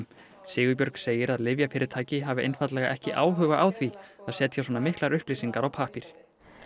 Sigurbjörg segir að lyfjafyrirtæki hafi einfaldlega ekki áhuga á því að setja svona miklar upplýsingar á pappír